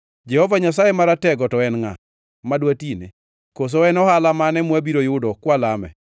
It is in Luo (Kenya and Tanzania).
Jehova Nyasaye Maratego to en ngʼa, ma dwatine? Koso en ohala mane mwabiro yudo kwalame?